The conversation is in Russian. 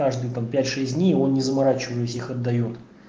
каждый там пять шесть дней он не заморачиваясь их отдаёт